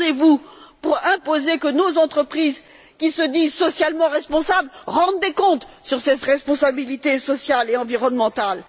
Qu'attendez vous pour imposer que nos entreprises, qui se disent socialement responsables, rendent des comptes sur ces responsabilités sociales et environnementales?